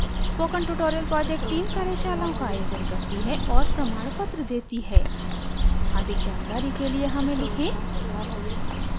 spoken tutorial project team कार्यशालाओं का आयोजन करती है और प्रमाणपत्र देती है अधिक जानकारी के लिए हमें लिखें